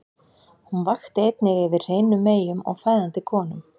Hún vakti einnig yfir hreinum meyjum og fæðandi konum.